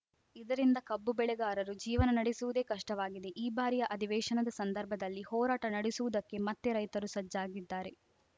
ಇದರಿಂದ ಕಬ್ಬು ಬೆಳೆಗಾರರು ಜೀವನ ನಡೆಸುವುದೇ ಕಷ್ಟವಾಗಿದೆ ಈ ಬಾರಿಯ ಅಧಿವೇಶನದ ಸಂದರ್ಭದಲ್ಲಿ ಹೋರಾಟ ನಡೆಸುವುದಕ್ಕೆ ಮತ್ತೆ ರೈತರು ಸಜ್ಜಾಗಿದ್ದಾರೆ